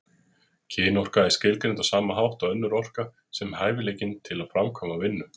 Kynorka er skilgreind á sama hátt og önnur orka, sem hæfileikinn til að framkvæma vinnu.